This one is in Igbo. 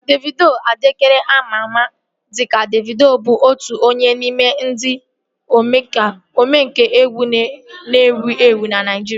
Davido Adeleke ama ama dịka Davido bụ otu onye n'ime ndị omenkà egwu na-ewu ewu na Naijiria